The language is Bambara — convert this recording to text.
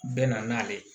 Bɛ na n'ale ye